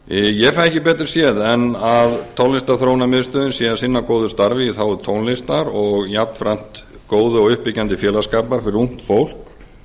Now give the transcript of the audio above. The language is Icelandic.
ég fæ ekki betur séð en tónlistarþróunarmiðstöðin sé að sinna góðu starfi í þágu tónlistar og jafnframt góðu og uppbyggjandi félagsskapur fyrir ungt fólk